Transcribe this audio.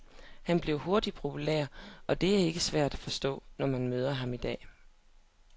Han blev hurtigt populær, og det er ikke svært at forstå, når man møder ham i dag.